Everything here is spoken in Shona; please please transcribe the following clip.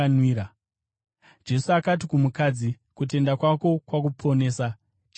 Jesu akati kumukadzi, “Kutenda kwako kwakuponesa; chienda norugare.”